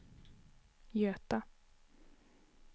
Göta